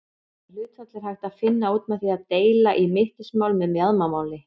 Þetta hlutfall er hægt að finna út með því að deila í mittismál með mjaðmamáli.